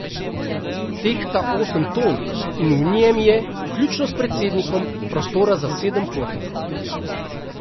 Tehta osem ton in v njem je, vključno s predsednikom, prostora za sedem potnikov.